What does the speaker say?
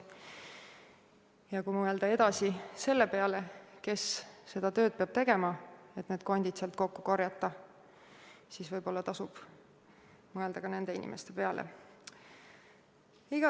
Ja kui mõelda edasi selle peale, kes seda tööd peab tegema, et need kondid sealt kokku korjata, siis võib-olla tasub mõelda ka nende inimeste peale.